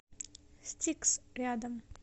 стикс рядом